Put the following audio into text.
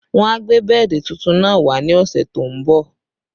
Wọ́n a gbé bẹ́ẹ̀dì tuntun náà wá ní ọ̀sẹ̀ tó ń bọ̀